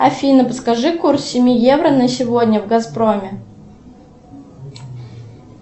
афина подскажи курс семи евро на сегодня в газпроме